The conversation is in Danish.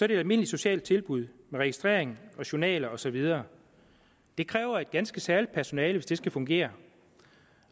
det et almindeligt socialt tilbud med registrering journaler og så videre det kræver et ganske særligt personale hvis det skal fungere